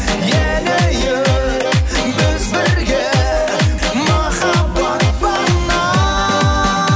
енейік біз бірге махаббат бағына